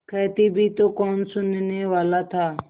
कहती भी तो कौन सुनने वाला था